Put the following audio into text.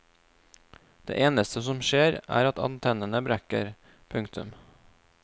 Det eneste som skjer er at antennene brekker. punktum